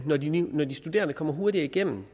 når de når de studerende kommer hurtigere igennem